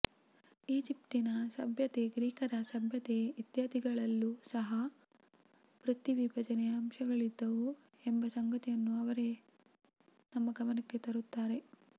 ಈಜಿಪ್ಟಿನ ಸಭ್ಯತೆ ಗ್ರೀಕರ ಸಭ್ಯತೆ ಇತ್ಯಾದಿಗಳಲ್ಲೂ ಸಹ ವೃತ್ತಿ ವಿಭಜನೆಯ ಅಂಶಗಳಿದ್ದವು ಎಂಬ ಸಂಗತಿಯನ್ನು ಅವರೇ ನಮ್ಮ ಗಮನಕ್ಕೆ ತರುತ್ತಾರೆ